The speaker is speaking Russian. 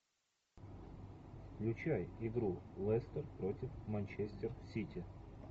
включай игру лестер против манчестер сити